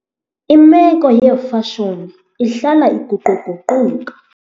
Imeko yeefashoni ihlala iguquguquka.